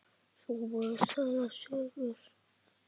Svo voru sagðar sögur.